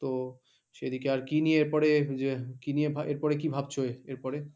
তো সেদিকে আর কি নিয়ে এরপরে যে কি নিয়ে এরপরে কি ভাবছো? এরপরে